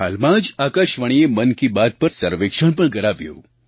હાલમાં જ આકાશવાણીએ મન કી બાત પર સર્વેક્ષણ પણ કરાવ્યું